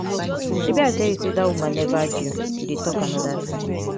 shebi i tell you say dat woman never due you dey talk another thing.